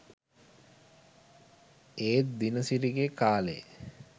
ඒත් දිනසිරිගෙ කාලෙ